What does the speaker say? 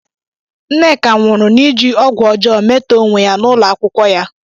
Nneka nwụrụ n'iji ọgwụ ọjọọ metọọ onwe ya n'ụlọ akwụkwọ ya.